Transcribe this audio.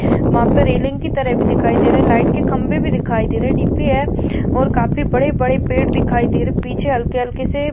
वहाँ पे रेलिंग की तरह भी दिखाई दे रहा है लाइट के खंबे भी दिखाई दे रहे है डीपी है और काफी बड़े बड़े पेड़ दिखाई दे रहे पीछे हल्के हल्के से --